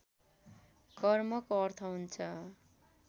कर्मको अर्थ हुन्छ